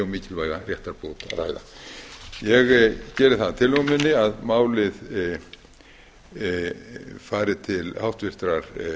mikilvæga réttarbót að ræða ég geri það að tillögu minni að málið fari til háttvirtrar